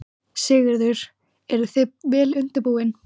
Sigurður: Eruð þið vel útbúin?